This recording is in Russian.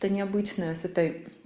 то необычная с этой